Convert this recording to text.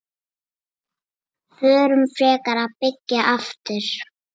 Förum frekar að byggja aftur.